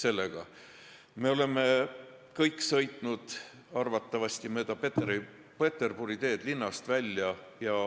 Arvatavasti me kõik oleme sõitnud mööda Peterburi maanteed linnast välja.